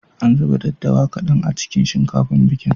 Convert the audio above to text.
An zuba daddawa kaɗan a cikin shinkafar bikin.